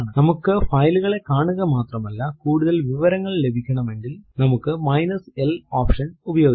നമുക്ക് file കളെ കാണുക മാത്രമല്ല കൂടുതൽ വിവരങ്ങൾ ലഭിക്കണമെങ്കിൽ നമ്മുക്ക് മൈനസ് l എൽ ഓപ്ഷൻ ഉപയോഗിക്കാം